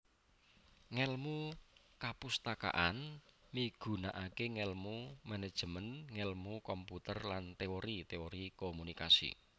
Ngèlmu kapustakaan migunakaké ngèlmu manajemen ngèlmu komputer lan teori teori komunikasi